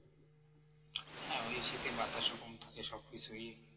হ্যাঁ ঐ শীতে বাতাস ওরকম থাকে সবকিছু